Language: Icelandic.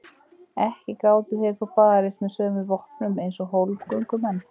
Ekki gátu þeir þó barist með sömu vopnum eins og hólmgöngumenn.